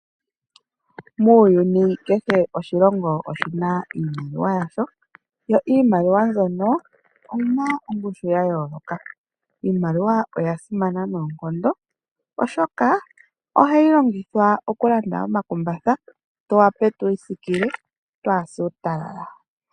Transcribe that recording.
Muuyuni kehe oshilongo oshina iimaliwa yasho , yo iimaliwa mbyono oyina ongushu yayooloka . Iimaliwa oya simana noonkondo oshoka ohayi longithwa okulanda omakumbatha, tu wape twiisikile twaase uutalala.